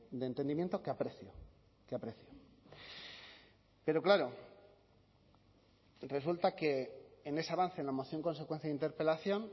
de entendimiento que aprecio que aprecio pero claro resulta que en ese avance en la moción consecuencia de interpelación